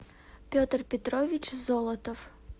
петр петрович золотов